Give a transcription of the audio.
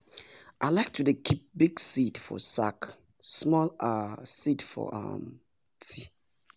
i like to dey keep big seed for sack small um seed for um ti